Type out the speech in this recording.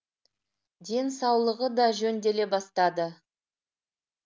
ден саулығы да жөнделе бастады